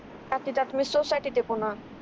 आती ते पुन्हा